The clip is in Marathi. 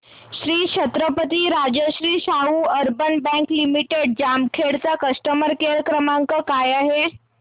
Shri Chhatrapati Rajshri Shahu urban bank limited Jamkhed चा कस्टमर केअर क्रमांक काय आहे